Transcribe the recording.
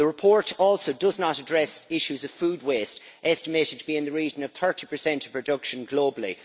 The report also does not address issues of food waste, estimated to be in the region of 30 of production globally.